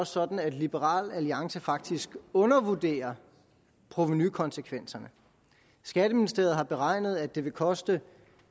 sådan at liberal alliance faktisk undervurderer provenukonsekvenserne skatteministeriet har beregnet at det vil koste